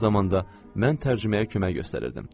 Eyni zamanda mən tərcüməyə kömək göstərirdim.